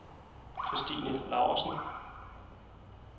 Kristine Laursen